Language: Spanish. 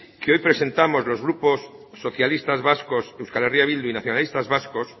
que presentamos los grupos socialistas vascos euskal herria bildu y nacionalistas vascos